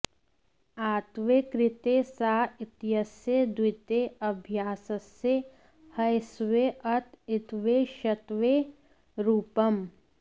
आत्त्वे कृते सा इत्यस्य द्वित्वे अभ्यासस्य ह्यस्वे अत इत्त्वे षत्वे रूपम्